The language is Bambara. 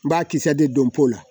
N b'a kisɛ de don po la